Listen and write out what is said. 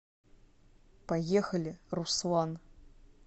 поехали руслан